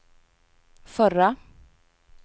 förra